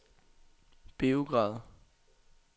Beograd